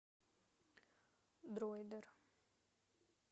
дройдер